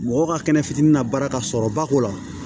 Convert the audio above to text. Mɔgɔ ka kɛnɛ fitinin na baara ka sɔrɔ ba k'o la